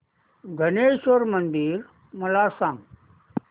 धरमेश्वर मंदिर मला सांग